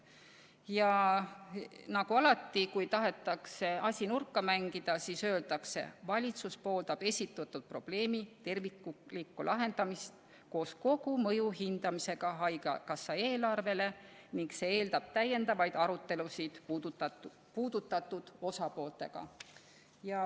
Ja nagu alati, kui tahetakse asi nurka mängida, siis öeldakse: "Valitsus pooldab esitatud probleemi terviklikku lahendamist koos kogu mõju hindamisega Haigekassa eelarvele ning see eeldab täiendavaid arutelusid puudutatud osapooltega.